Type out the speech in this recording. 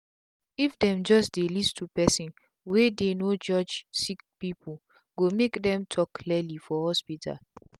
if them just dey list to personwey dey no judge sick peoplee go make dem talk clearly for hospital.